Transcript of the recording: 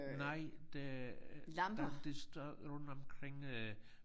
Nej det jamen det står rundt omkring øh